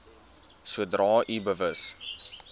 sodra u bewus